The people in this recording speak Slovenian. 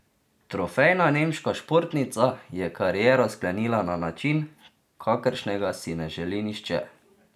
Trofejna nemška športnica je kariero sklenila na način, kakršnega si ne želi nihče.